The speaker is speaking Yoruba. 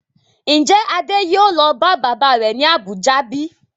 Ń jẹ́ Adé yìí ó lọ bá bàbá rẹ̀ ni Abuja bíi?